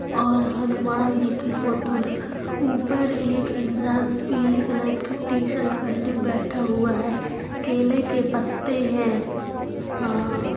और हनुमान जी की फोटो है ऊपर एक इंसान पीली कलर की टीशर्ट पहने बैठ हुआ है केले के पत्ते है आ--